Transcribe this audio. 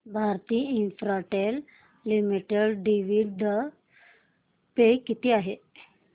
Bharti Infratel limited dividend pay किती आहे